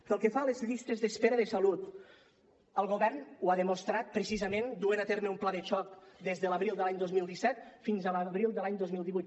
pel que fa a les llistes d’espera de salut el govern ho ha demostrat precisament duent a terme un pla de xoc des de l’abril de l’any dos mil disset fins a l’abril de l’any dos mil divuit